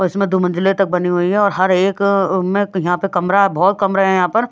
इसमें दो मंजिले तक बनी हुई है और हर एक में यहां पे कमरा बहुत कमरे हैं यहां पर--